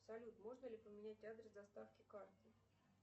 салют можно ли поменять адрес доставки карты